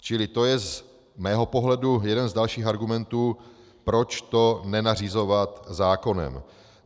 Čili to je z mého pohledu jeden z dalších argumentů, proč to nenařizovat zákonem.